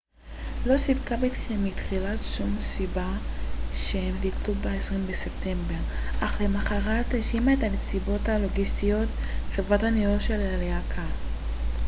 חברת הניהול של הלהקה hk management inc לא סיפקה בתחילה שום סיבה כשהם ביטלו ב-20 בספטמבר אך למחרת האשימה את הנסיבות הלוגיסטיות